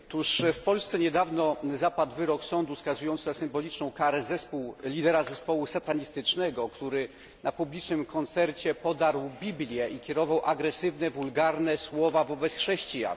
W Polce niedawno zapadł wyrok sądu skazujący na symboliczną karę lidera zespołu satanistycznego, który na publicznym koncercie podarł Biblię i kierował agresywne, wulgarne słowa wobec chrześcijan.